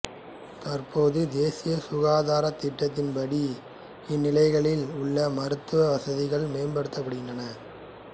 தற்போது தேசிய சுகாதார திட்டத்தின்படி இந்நிலையங்களில் உள்ள மருத்துவ வசதிகள் மேம்படுத்தப்படுகின்றன